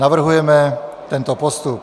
Navrhujeme tento postup.